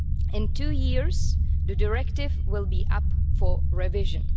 In two years' time, the directive will be up for revision.